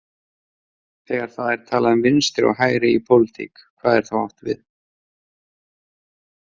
Þegar það er talað um vinstri og hægri í pólitík, hvað er þá átt við?